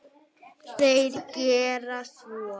Þeir gera svo.